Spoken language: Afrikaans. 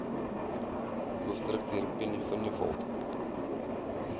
hoofdirekteur penny vinjevold